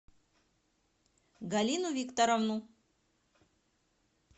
галину викторовну